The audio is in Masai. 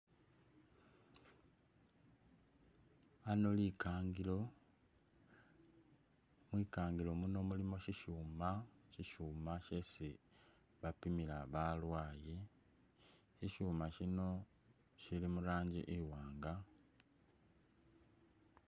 Ano likangilo, mwikangilo muno mulimo shishuma, shishuma shesi bapimila balwaaye, shishuma shino shili murangi iwaanga.